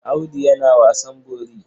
Audu yana wasan bori.